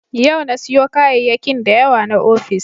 Yau na siyo kayayyakin da yawa na ofis.